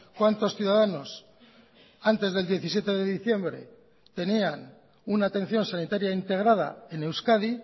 cuántos ciudadanos antes del diecisiete de diciembre tenían una atención sanitaria integrada en euskadi